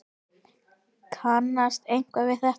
Kannast einhver við þetta?